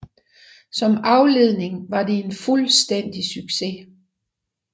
Som afledning var det en fuldstændig succes